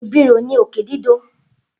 Ibiro ni oke dido.